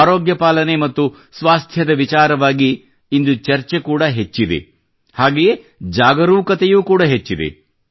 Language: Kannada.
ಆರೋಗ್ಯಪಾಲನೆ ಮತ್ತು ಸ್ವಾಸ್ಥ್ಯದ ವಿಚಾರವಾಗಿ ಇಂದು ಚರ್ಚೆ ಕೂಡ ಹೆಚ್ಚಿದೆ ಹಾಗೆಯೇ ಜಾಗರೂಕತೆಯೂ ಕೂಡ ಹೆಚ್ಚಿದೆ